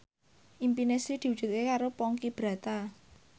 impine Sri diwujudke karo Ponky Brata